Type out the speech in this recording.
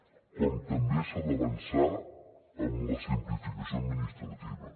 com també s’ha d’avançar en la simplificació administrativa